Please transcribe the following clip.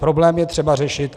Problém je třeba řešit.